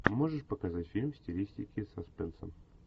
можешь показать фильм в стилистике саспенса